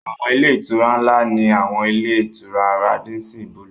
Àwọn ilé-ìtura ńlá ni àwọn ilé-ìtura Rádísín bulùù.